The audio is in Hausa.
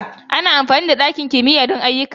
Ana amfani da ɗakin kimiyyar sinandarai don ayyuka.